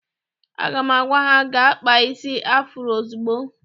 Aga m agwa ha gaa kpaa isi afuro ozugbo!